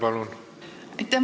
Aitäh!